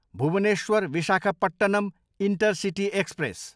Bhubaneswar, Visakhapatnam intercity express